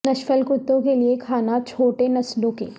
نشفل کتوں کے لئے کھانا چھوٹے نسلوں کے